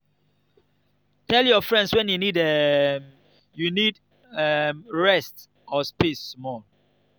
dey tell your friends when um you need um rest or space small.